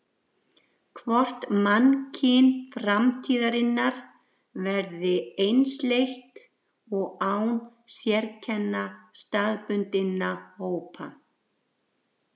Hvort mannkyn framtíðarinnar verði einsleitt og án sérkenna staðbundinna hópa.